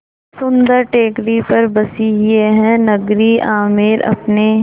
सुन्दर टेकड़ी पर बसी यह नगरी आमेर अपने